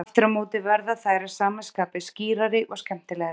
Aftur á móti verða þær að sama skapi skýrari og skemmtilegri.